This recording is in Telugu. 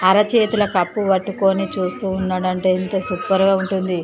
అరచేతుల కప్పు పట్టుకొని చూస్తూ ఉన్నాడంటే ఎంత సూపర్ గా ఉంటుంది.